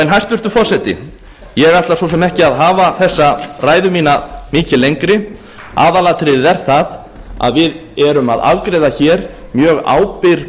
hæstvirtur forseti ég ætla svo sem ekki að hafa þessa ræðu mína mikið lengri aðalatriðið er að við erum að afgreiða hér mjög ábyrg